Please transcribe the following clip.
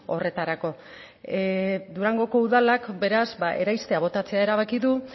horretarako durangoko udalak beraz ba eraistea botatzea erabaki du